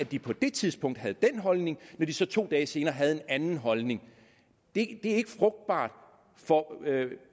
de på det tidspunkt havde den holdning men så to dage senere havde en anden holdning det er ikke frugtbart for